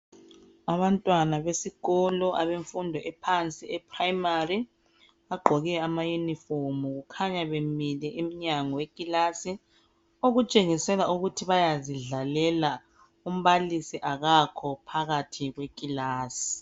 Abantwana besikolo abemfundo ephansi e primary, bagqoke ama yunifomu. Kukhanya bemile emnyango wekilasi, okutshengisela ukuthi bayazidlalela, umbalisi akakho phakathi kwekilasi.